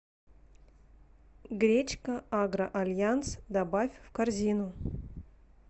гречка агро альянс добавь в корзину